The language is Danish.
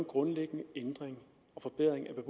grundlæggende ændring og forbedring